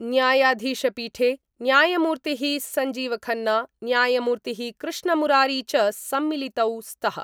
न्यायाधीशपीठे न्यायमूर्ति: संजीवखन्ना न्यायमूर्ति: कृष्णमुरारी च सम्मिलितौ स्त:।